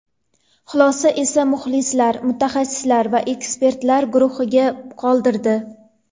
Xulosani esa muxlislar, mutaxassislar va ekspertlar guruhiga qoldirdi.